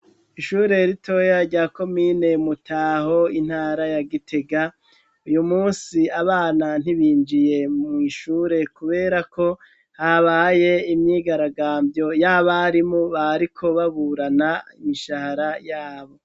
Ishure ritoya rya komine Mutaho intara ya Gitega uyu musi abana ntibinjiye mw'ishure, kubera ko habaye imyigaragamvyo y'abarimu bariko baburana imishahara yabo.